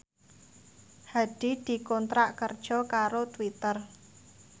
Hadi dikontrak kerja karo Twitter